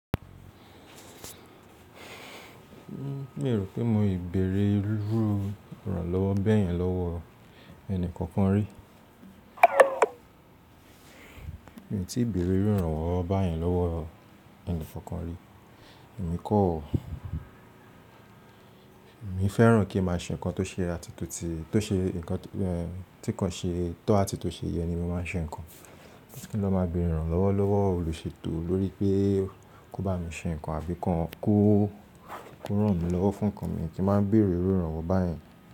Mi o rò pé mo ì bẹ̀rẹ̀ iru íranlọ́wọ́ bẹ́yẹn lọ́wọ́ ẹni kankan rí. Mi tí ì bẹ̀rẹ̀ iru íranlowọ́ báyẹn lọ́wọ́ ẹni kankan rí. Èmi kọ́ ọ̀, èmi fẹ́ràn kí n máa ṣe nǹkan tó ṣe atótì, tó ṣe nǹkan tí nǹkan ṣe tó a ti tó ṣe yẹ ni mo máa ṣe nǹkan. Kí n lọ́ máa bẹ̀rẹ̀ ìrànlọ́wọ́ lọ́wọ́ olùṣètò lórí pé kó bá mi ṣe nǹkan àbí kọ́, kó ràn mí lọ́wọ́ fún nǹkan mi kí n máa bẹ̀rẹ̀ iru íranwọ́ báyẹn.